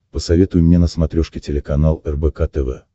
посоветуй мне на смотрешке телеканал рбк тв